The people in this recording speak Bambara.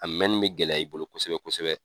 A mɛnni bɛ gɛlɛya i bolo kosɛbɛ kosɛbɛ.